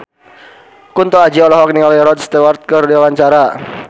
Kunto Aji olohok ningali Rod Stewart keur diwawancara